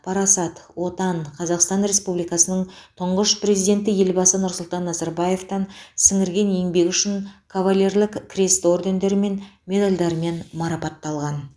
парасат отан қазақстан республикасының тұңғыш президенті елбасы нұрсұлтан назарбаев сіңірген еңбегі үшін кавалерлік крест ордендерімен медальдармен марапатталған